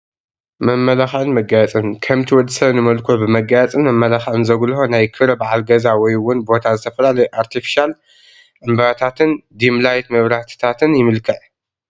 መመላኽዒን መጋየፅን፡- ከምቲ ወዲ ሰብ ንመልክዑ ብመጋየፅን መመላኽዕን ዘጉሎሆ ናይ ክብረ በዓል ገዛ ወይ እውን ቦታ ብዝተፈላለዩ ኣርቴፊሻል ዕንበታትን ዲምላይት መብራህትታትን ይምልክዕ፡፡